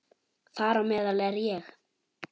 Þar á meðal er ég.